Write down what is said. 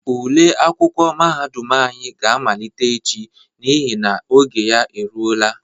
Ule akwụkwọ mahadum anyị ga amalite echi n'ihi na oge ya eluola.